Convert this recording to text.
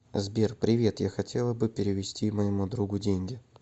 сбер привет я хотела бы перевести моему другу деньги